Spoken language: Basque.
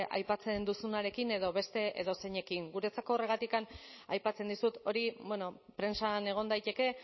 aipatzen duzunarekin edo beste edozeinekin guretzako horregatik aipatzen dizut hori prentsan egon daiteke